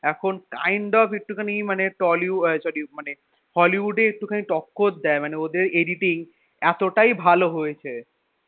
এখন kind of একটুখানি মানে tollywood মানে আহ sorry মানে hollywood এ একটু খানি টক্কর দেয় মানে ওদের editing এতটাই ভালো হয়েছে,